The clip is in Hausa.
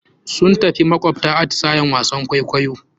Sun tafi makawabta, atisayen wasan kwaikwayo.